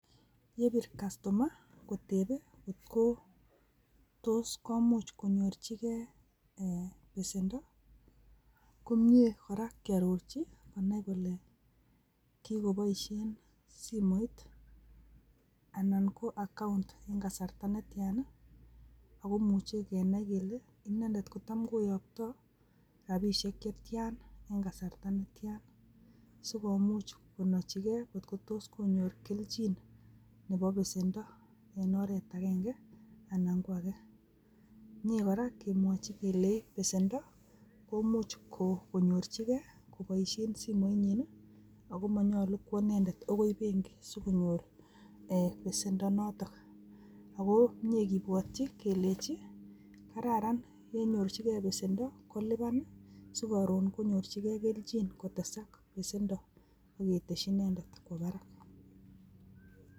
Yebir kastoma kotepe kot ko tos komuch konyorchigee besento komie koraa kiororji konai kole kikoboishen simoit anan ko account en kasarta netia nii ako imuche kenai kele inendet kotam koyoktoo rabishek chetian en kasarta netian, sikomuch konochi gee kotko tos konyor kelchin nebo besento en oret agenge ana ko agee, mie koraa kemwoji kelenji besendo komuch ko konyorji gee koboishen simoit nyin nii ako monyolu kwo indent akoi benki sokonyor besendo noton, ako mie kibwochi kelenji kararan yenyorchi gee besendo koliban sikorun konyorchigee keljin kotesak besendo ak keteshi inendet kwo barak.